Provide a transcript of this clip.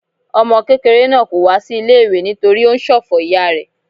Ọmọ kékeré náà kò wá sí ilé-ìwé nítorí ó ń ṣòfò ìyá rẹ.